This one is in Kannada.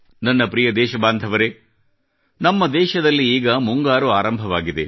ನನ್ನ ಪ್ರಿಯ ದೇಶಬಾಂಧವರೆ ನಮ್ಮ ದೇಶದಲ್ಲಿ ಈಗ ಮುಂಗಾರು ಆರಂಭವಾಗಿದೆ